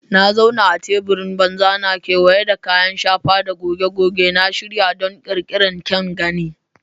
Na zauna a teburin banza na, kewaye da kayan shafa da goge-goge, na shirya don ƙirƙirar kyan gani.